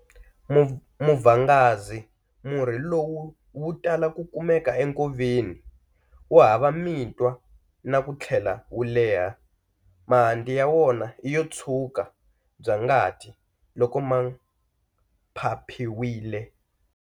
Muvhangazi Murhi lowu wu tala ku kumeka enkoveni, wu hava mitwa na ku tlhela wu leha. Mahanti ya wona i yo tshwuka bya ngati loko ma phaphiwile.